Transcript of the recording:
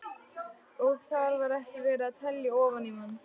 Og þar var ekki verið að telja ofan í mann.